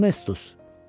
Honetus.